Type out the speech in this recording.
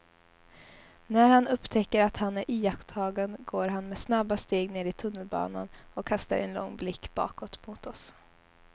När han upptäcker att han är iakttagen går han med snabba steg ner i tunnelbanan och kastar en lång blick bakåt mot oss.